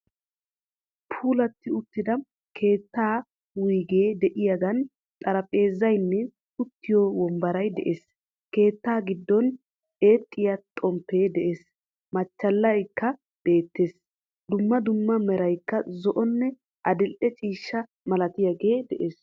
Puulati uttida keettaa wuyyigee de'iyagan xarphpheezaynne uttiyo wonbbaray de'ees, keettaa giddon eexiyaa xomppee de'ees. Machchallaykka beettees. Dumma dumma meraykka zo"oynne adil"e ciishshaa malatiyagee de'ees.